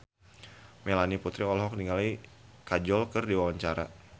Melanie Putri olohok ningali Kajol keur diwawancara